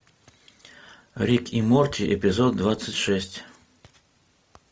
рик и морти эпизод двадцать шесть